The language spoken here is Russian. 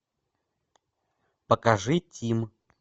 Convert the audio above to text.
покажи тим